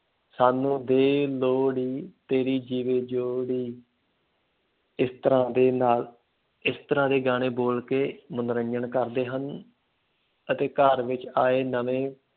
ਸਾਨੂੰ ਦੇ ਲੋਹੜੀ, ਤੇਰੀ ਜੀਵੇ ਜੋੜੀ ਇਸ ਤਰ੍ਹਾਂ ਦੇ ਨਾਲ, ਇਸ ਤਰ੍ਹਾਂ ਦੇ ਗਾਣੇ ਬੋਲ ਕੇ ਮੰਨੋਰੰਜਨ ਕਰਦੇ ਹਨ ਅਤੇ ਘਰ ਵਿੱਚ ਆਏ ਨਵੇਂ